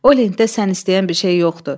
O lentdə sən istəyən bir şey yoxdur.